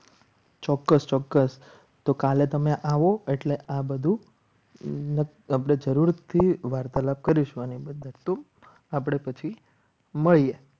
છોકરો ચોક્કસ તો કાલે તમે આવો એટલે આ બધું આપણે જરૂરથી વારતા કરીશ આપણે પછી મળીએ.